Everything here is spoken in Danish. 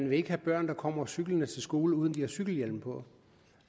vil have børn der kommer cyklende til skole uden at de har cykelhjelm på